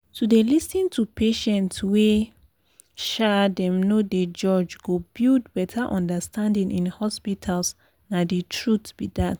to dey lis ten to patients wey um dem no dey judge go build better understanding in hospitals nah the truth be dat.